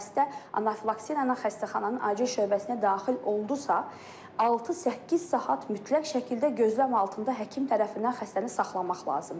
Xəstə anafilaksi ilə xəstəxananın acil şöbəsinə daxil oldusa, 6-8 saat mütləq şəkildə gözləm altında həkim tərəfindən xəstəni saxlamaq lazımdır.